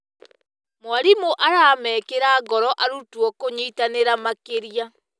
Mwarimũ aramekĩra ngoro arutwo kũnyitanĩra makĩria.